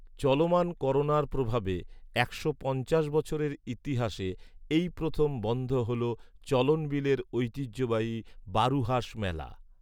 চলমান করোনার প্রভাবে একশো পঞ্চাশ বছরের ইতিহাসে এই প্রথম বন্ধ হলো চলনবিলের ঐতিহ্যবাহী বারুহাস মেলা